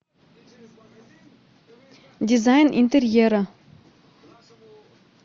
дизайн интерьера